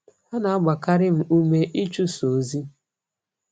Ha na-agbakarị m ụme ịchụso ozi.